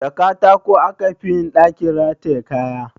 Da katako aka fi yin ɗakin rataye kaya